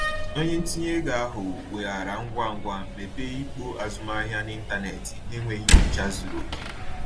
Onye ntinye ego ahụ weghaara ngwa ngwa mepee ikpo azụmahịa n’ịntanetị n’enweghị nnyocha zuru oke.